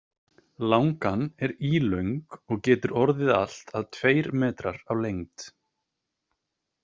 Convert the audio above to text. Langan er ílöng og getur orðið allt að tveir metrar á lengd.